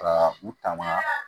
Kaa u tama